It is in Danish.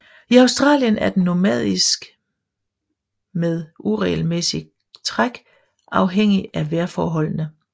I Australien er den nomadisk med uregelmæssig træk afhængigt af vejrforholdene